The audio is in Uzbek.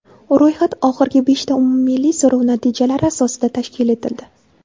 Ro‘yxat oxirgi beshta umummilliy so‘rov natijalari asosida tashkil etildi.